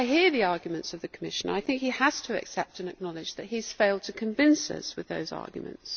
Whilst I hear the arguments of the Commissioner, I think he has to accept and acknowledge that he has failed to convince us with those arguments.